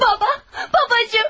Baba! Babacım!